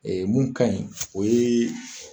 mun ka ɲi o ye